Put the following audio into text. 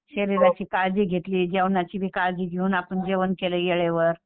शरीराची काळजी घेतली जेवणाची बी काळजी घेऊन आपण जेवण केलं वेळेवर.